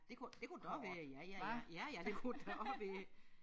Det kunne det kunne godt være ja ja ja ja ja det kunne det da også være